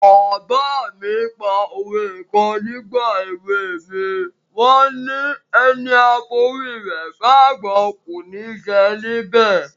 Bàbá mi pa òwe kan nígbà èwe mi, wọ́n ni: "Ẹni a forí rẹ̀ fágbọ́n, kò ní jẹ níbẹ̀".